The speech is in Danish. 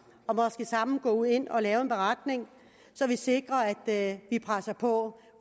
og måske sammen gå ind og lave en beretning så vi sikrer at vi presser på